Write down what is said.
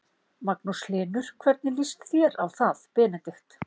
Magnús Hlynur: hvernig líst þér á það Benedikt?